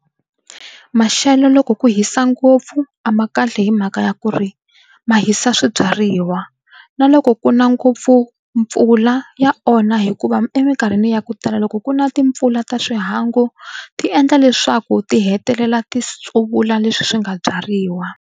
Maxelo loko ku hisa ngopfu a ma kahle hi mhaka ya ku ri ma hisa swibyariwa na loko ku na ngopfu mpfula ya onha hikuva eminkarhini ya ku tala loko ku na timpfula ta xihangu ti endla leswaku ti hetelela ti tsuvula leswi swi nga byariwa.